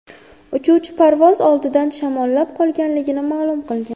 Uchuvchi parvoz oldidan shamollab qolganligini ma’lum qilgan.